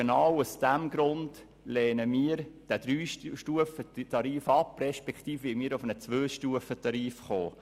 Genau deshalb lehnen wir diesen Dreistufentarif ab und wollen zu einem Zweistufentarif kommen.